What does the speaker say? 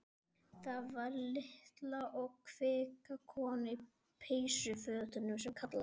Það var litla og kvika konan í peysufötunum sem kallaði.